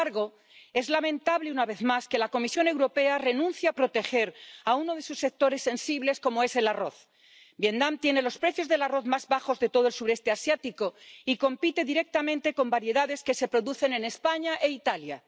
Sin embargo, es lamentable, una vez más, que la Comisión Europea renuncie a proteger a uno de sus sectores sensibles, como es el arroz. Vietnam tienen los precios del arroz más bajos de todo el Sudeste Asiático y compite directamente con variedades que se producen en España e Italia.